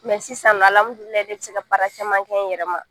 sisan ne bɛ se ka baara caman kɛ n yɛrɛ ma